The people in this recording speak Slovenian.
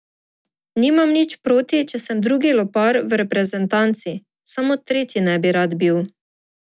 Nimam nič proti, če sem drugi lopar v reprezentanci, samo tretji ne bi rad bil.